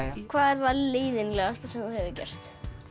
hvað er það leiðinlegasta sem þú hefur gert